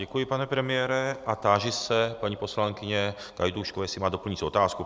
Děkuji, pane premiére, a táži se paní poslankyně Gajdůškové, jestli má doplňující otázku.